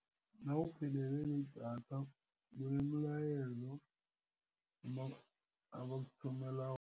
Nawuphelelwe lidatha kunemilayezo abakuthumela